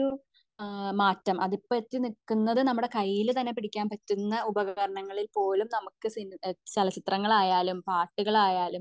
അഹ് ഒരു മാറ്റം അതിപ്പോ എത്തി നില്കുന്നത് നമ്മുടെ കയ്യിൽ തന്നെ പിടിക്കാൻ പറ്റുന്ന ഉപകരണങ്ങളിൽ പോലും നമുക് സിനി ചലച്ചിത്രങ്ങളായാലും പാട്ടുകളായാലും